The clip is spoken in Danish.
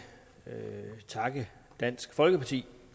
takke dansk folkeparti